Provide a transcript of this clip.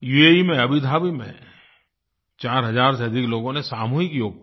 UAE में Abu Dhabi में 4000 से अधिक लोगों ने सामूहिक योग किया